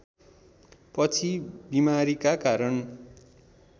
पछि बिमारीका कारण